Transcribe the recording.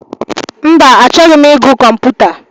Mba, achọghị ịgụ kọmputa.